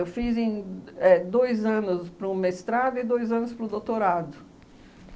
Eu fiz em éh dois anos para o mestrado e dois anos para o doutorado.